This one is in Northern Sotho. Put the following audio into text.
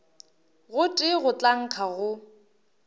gotee go tla nkga go